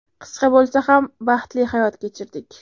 Qisqa bo‘lsa ham, baxtli hayot kechirdik.